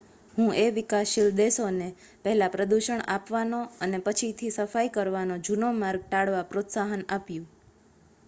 "હુએ વિકાસશીલ દેશોને "પહેલા પ્રદૂષણ આપવાનો અને પછીથી સફાઈ કરવાનો જૂનો માર્ગ ટાળવા પ્રોત્સાહન આપ્યું.""